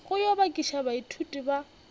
go yo bakiša baithuti ba